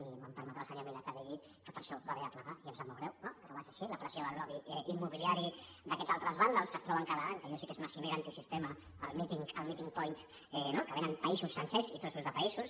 i em permetrà el senyor milà que digui que per això va haver de plegar i em sap molt greu no però va ser així la pressió del lobby immobiliari d’aquests altres vàndals que es troben cada any que allò sí que és una cimera antisistema al meeting point no que venen països sencers i trossos de països